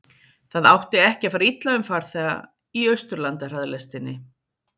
Það átti ekki að fara illa um farþega í Austurlandahraðlestinni.